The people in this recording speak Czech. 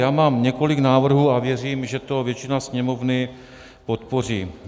Já mám několik návrhů a věřím, že to většina Sněmovny podpoří.